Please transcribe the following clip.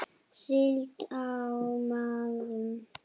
Síld á miðum.